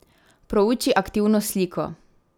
Prouči aktivno sliko.